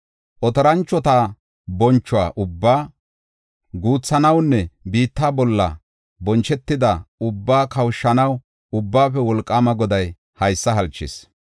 Otoranchota boncho ubbaa guuthanawunne biitta bolla bonchetida ubbaa kawushanaw Ubbaafe Wolqaama Goday haysa halchis.